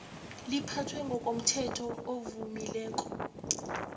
liphathwe ngokomthetho ovamileko